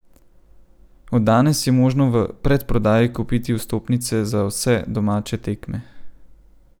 Od danes je možno v predprodaji kupiti vstopnice za vse domače tekme.